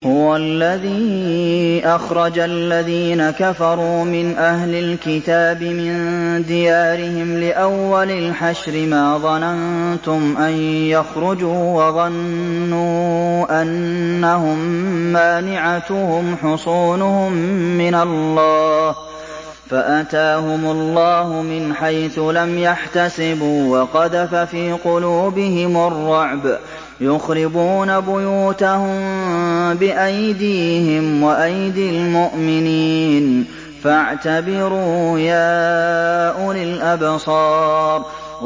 هُوَ الَّذِي أَخْرَجَ الَّذِينَ كَفَرُوا مِنْ أَهْلِ الْكِتَابِ مِن دِيَارِهِمْ لِأَوَّلِ الْحَشْرِ ۚ مَا ظَنَنتُمْ أَن يَخْرُجُوا ۖ وَظَنُّوا أَنَّهُم مَّانِعَتُهُمْ حُصُونُهُم مِّنَ اللَّهِ فَأَتَاهُمُ اللَّهُ مِنْ حَيْثُ لَمْ يَحْتَسِبُوا ۖ وَقَذَفَ فِي قُلُوبِهِمُ الرُّعْبَ ۚ يُخْرِبُونَ بُيُوتَهُم بِأَيْدِيهِمْ وَأَيْدِي الْمُؤْمِنِينَ فَاعْتَبِرُوا يَا أُولِي الْأَبْصَارِ